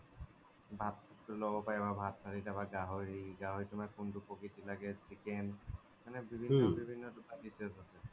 ভাত তো লব পাৰি ভাত গাহৰি, গাহৰি তুমাৰ কুন্তু প্ৰকিতি লাগে chicken মানে বিভিন্ন বিভিন্ন তুমাৰ dishes আছে